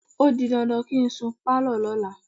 O di dandan kí n sun pálọ̀ lọ́la.